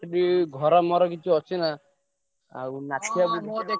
ସେଠି ଘର ମର କିଛି ଅଛି ନା?